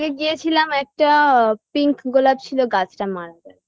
গিয়েছিলাম একটা pink গোলাপ ছিল গাছটা মারা গেছে